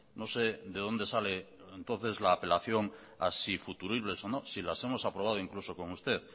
no sé de dónde sale entonces la apelación a si futuribles o no si las hemos aprobado incluso con usted